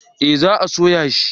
Eh za a soya shi